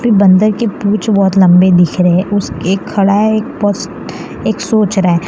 बंदर के पूछ बहोत लंबे दिख रहे उस एक खड़ा है एक एक सोच रहा है।